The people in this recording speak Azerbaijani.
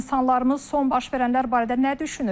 İnsanlarımız son baş verənlər barədə nə düşünür?